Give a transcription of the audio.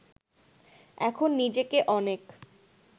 এখন নিজেকে অনেক